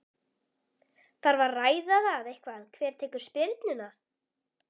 Þarf að ræða það eitthvað hver tekur spyrnuna?